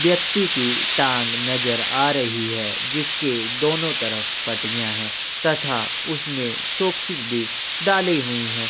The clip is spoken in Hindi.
व्यक्ति की टांग नज़र आ रही है जिसके दोनों तरफ पटिया है तथा उसने सोक्सेस भी डाले हुई हैं।